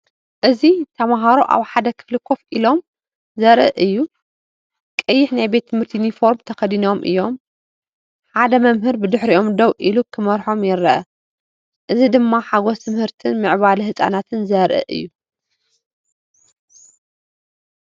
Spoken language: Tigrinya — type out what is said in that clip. እዚ ተማሃሮ ኣብ ሓደ ክፍሊ ኮፍ ኢሎም ዘርኢ እዩ። ቀይሕ ናይ ቤት ትምህርቲ ዩኒፎርም ተኸዲኖም እዮም። ሓደ መምህር ብድሕሪኦም ደው ኢሉ ክመርሖም ይረአ። እዚ ድማ ሓጎስ ትምህርትን ምዕባለ ህጻናትን ዘርኢ እዩ።